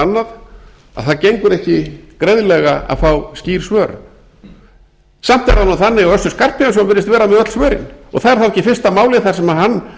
annað að það gengur ekki greiðlega að fá skýr svör samt er það nú þannig að össur skarphéðinsson virðist vera með öll svörin og það er þá ekki fyrsta málið þar sem hann